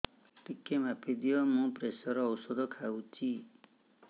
ଟିକେ ମାପିଦିଅ ମୁଁ ପ୍ରେସର ଔଷଧ ଖାଉଚି